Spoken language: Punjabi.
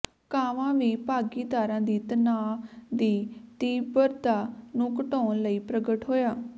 ਕਾਵਾ ਵੀ ਭਾਗੀਦਾਰਾਂ ਦੀ ਤਣਾਅ ਦੀ ਤੀਬਰਤਾ ਨੂੰ ਘਟਾਉਣ ਲਈ ਪ੍ਰਗਟ ਹੋਇਆ